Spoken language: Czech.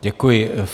Děkuji.